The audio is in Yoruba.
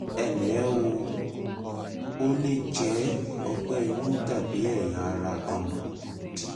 ẹ ǹlẹ́ o ó lè jẹ́ ọgbẹ́ inú tàbí kí ẹ̀yà ara kan dì